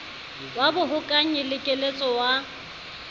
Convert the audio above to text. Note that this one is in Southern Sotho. wa bohokanyi le keletso wa